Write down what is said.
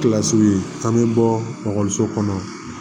Kilasi ye an bɛ bɔkɔliso kɔnɔ